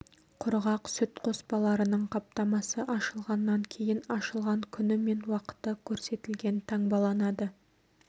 құрғақ сүт қоспаларының қаптамасы ашылғаннан кейін ашылған күні мен уақыты көрсетілген таңбаланады